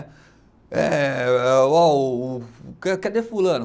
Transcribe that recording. Eh eh, ó o o, ca cadê fulano?